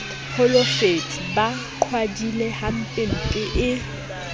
holofetse ba qhwadile hampempe e